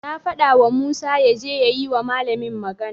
Na fadawa Musa yaje ya yi wa malamin magana.